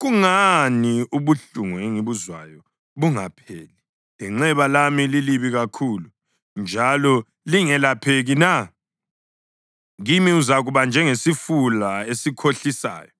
Kungani ubuhlungu engibuzwayo bungapheli lenxeba lami lilibi kakhulu njalo lingelapheki na? Kimi uzakuba njengesifula esikhohlisayo,